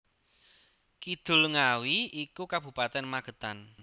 Kidul Ngawi iku Kabupaten Magetan